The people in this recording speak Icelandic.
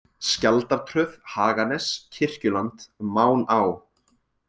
Skjaldartröð, Haganes, Kirkjuland, Máná